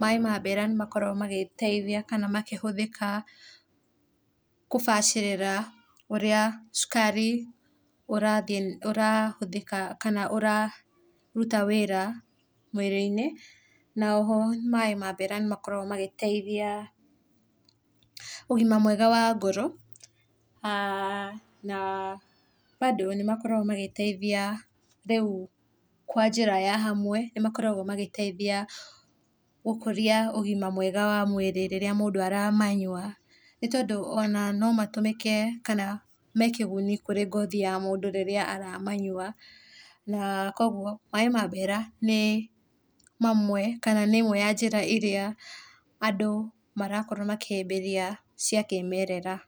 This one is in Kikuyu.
maĩ ma mbera nĩmakoragwo magĩteithia kana makĩhũthĩka kũbacĩrĩra ũrĩa cukari ũrathiĩ, ũrahũthĩka kana ũraruta wĩra mwĩrĩ-inĩ, na o ho maĩ ma mbera nĩmakoragwo magĩteithia ũgima mwega wa ngoro na mbandũ nĩ makoragwo magĩteithia rĩu kwa njĩra ya hamwe nĩmakoragwo magĩtethia gũkũria ũgima mwega wa mwĩrĩ rĩrĩa mũndũ aramanyua nĩ tondũ ona no matũmĩke kana mekĩguni kũrĩ ngothi ya mũndũ rĩrĩa aramanyua na kwoguo maĩ ma mbera nĩ mamwe kana nĩ njĩra ĩmwe ĩrĩa andũ marakorwo makĩhĩmbĩria cia kĩmerera.